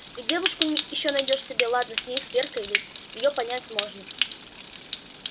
и девушку ещё найдёшь себе ладно с ней с веркой ведь и её понять можно